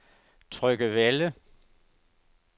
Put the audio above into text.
Tryggevælde